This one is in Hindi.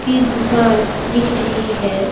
की दुकान दिख रही है।